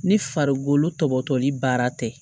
Ni farikolo tɔbɔtɔli baara tɛ